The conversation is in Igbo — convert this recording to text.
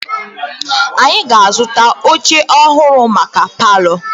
Anyị ga-azụta oche ọhụrụ maka palọ.